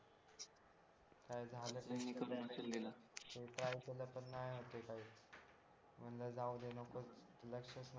काय झालंच नाही मी try केलं पण ते नाही होत आहे काही म्हणलं जाऊ द्या नकोच लक्षच नको